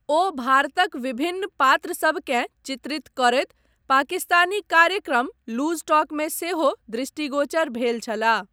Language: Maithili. ओ भारतक विभिन्न पात्रसभकेँ चित्रित करैत पाकिस्तानी कार्यक्रम लूज टॉकमे सेहो दृष्टिगोचर भेल छलाह।